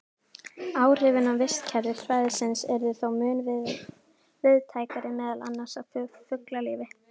Áhrifin á vistkerfi svæðisins yrðu þó mun víðtækari, meðal annars á fuglalíf.